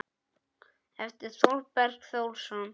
eftir Þorberg Þórsson